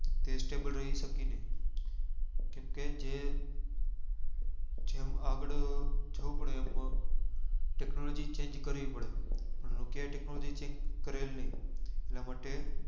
તે stable રહી સાકી નહિ કેમ કે જે અર જેમ આગળ જવું પડે એમ technology કરવી પડે nokia એ technology change કરેલ નહિ એટલા માટે